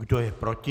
Kdo je proti?